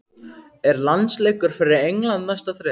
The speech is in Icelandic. Er landsleikur fyrir England næsta þrep?